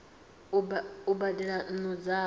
a u badela nnu dzavho